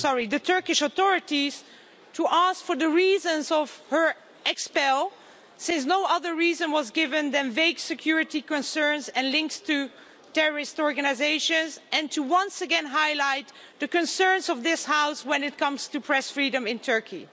the Turkish authorities to ask for the reasons for her expulsion since no other reason was given than vague security concerns and links to terrorist organisations, and to once again highlight the concerns of this House when it comes to press freedom in Turkey.